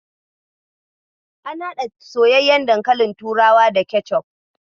Ana haɗa soyyayyen dankalin turawa da kecof.